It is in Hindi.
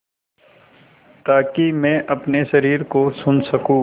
ताकि मैं अपने शरीर को सुन सकूँ